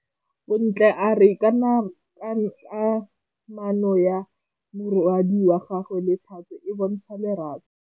Bontle a re kamanô ya morwadi wa gagwe le Thato e bontsha lerato.